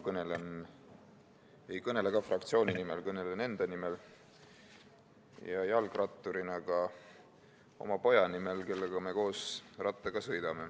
Minagi ei kõnele fraktsiooni nimel, kõnelen enda nimel ja jalgratturina ka oma poja nimel, kellega me koos rattaga sõidame.